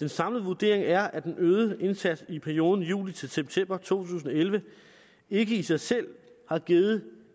den samlede vurdering er at den øgede indsats i perioden juli til september to tusind og elleve ikke i sig selv har givet